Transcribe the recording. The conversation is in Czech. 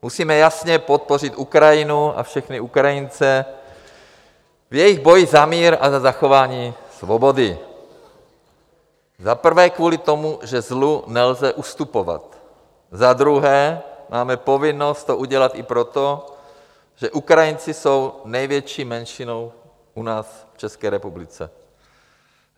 Musíme jasně podpořit Ukrajinu a všechny Ukrajince v jejich boji za mír a za zachování svobody - za prvé kvůli tomu, že zlu nelze ustupovat, za druhé máme povinnost to udělat i proto, že Ukrajinci jsou největší menšinou u nás v České republice.